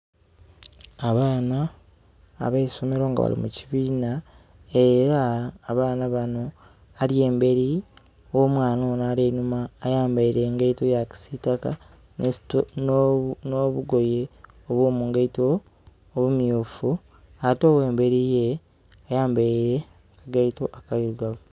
Abaana abeisomero nga bali mu kibiina era abaana banho, ali emberi gho'omwaana ono ali einhuma ayambeire engaito eyakisitaka nho bugoye obwomungaito obumyufu. Ate, oghemberi yee ayambaire akagaito akailugavu.